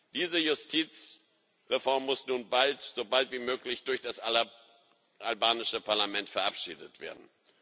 Diese Justizreform muss nun bald so bald wie möglich durch das albanische Parlament verabschiedet werden.